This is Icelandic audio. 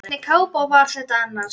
Hvernig kápa var þetta annars?